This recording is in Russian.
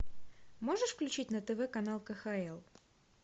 можешь включить на тв канал кхл